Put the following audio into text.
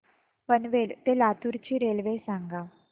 पनवेल ते लातूर ची रेल्वे सांगा